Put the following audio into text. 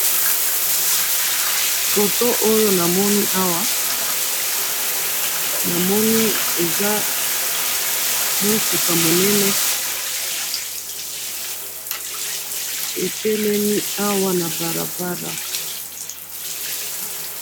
Foto oyo namoni awa, namoni eza mutuka munene etelemi awa na balabala.